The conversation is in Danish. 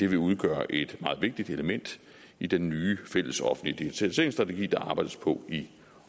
vil udgøre et meget vigtigt element i den nye fælles offentlige digitaliseringsstrategi der arbejdes på i